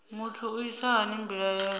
muthu u isa hani mbilaelo